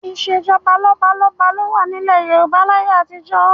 Ìṣèjọba lọ́balọ́ba ló wà nílẹ̀ Yorùbá láyé àtijọ́